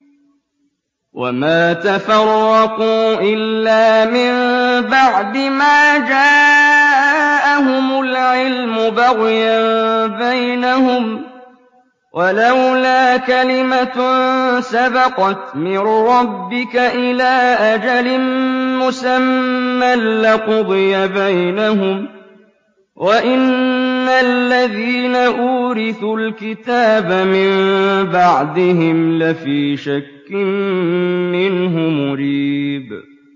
وَمَا تَفَرَّقُوا إِلَّا مِن بَعْدِ مَا جَاءَهُمُ الْعِلْمُ بَغْيًا بَيْنَهُمْ ۚ وَلَوْلَا كَلِمَةٌ سَبَقَتْ مِن رَّبِّكَ إِلَىٰ أَجَلٍ مُّسَمًّى لَّقُضِيَ بَيْنَهُمْ ۚ وَإِنَّ الَّذِينَ أُورِثُوا الْكِتَابَ مِن بَعْدِهِمْ لَفِي شَكٍّ مِّنْهُ مُرِيبٍ